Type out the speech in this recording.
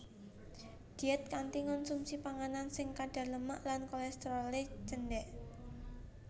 Diét kanthi ngonsumsi panganan sing kadar lemak lan kolésterolé cendhék